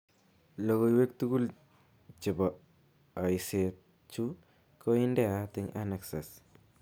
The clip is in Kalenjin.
Logoiwek tugul chepo aiset chu ko indeat ing annexes.